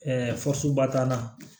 fasoba t'an na